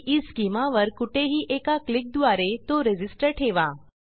ईस्केमा वर कुठेही एका क्लिकद्वारे तो रेझिस्टर ठेवा